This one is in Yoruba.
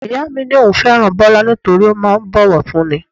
Ìyá mi ní òun fẹ́ràn Bọlá nítorí ó máa ń bowofunni.